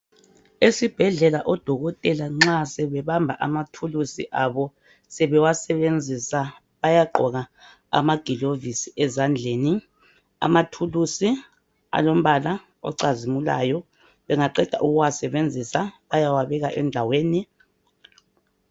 Esibhedlela odokotela nxa sebebamba amathulusi abo sebewasebenzisa ayagqooka amagilovisi ezandleni. Amathulusi alombala ocazimulayo bengaqeda ukuwasebenzisa bayawabeka endaweni.